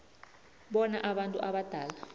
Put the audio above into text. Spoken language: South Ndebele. bona abantu abadala